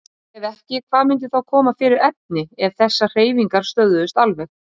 Ef ekki, hvað myndi þá koma fyrir efni ef þessar hreyfingar stöðvuðust alveg?